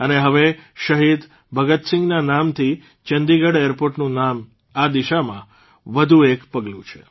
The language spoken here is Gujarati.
અને હવે શહીદ ભગતસિંહના નામથી ચંદીગઢ એરપોર્ટનું નામ આ દિશામાં વધુ એક પગલું છે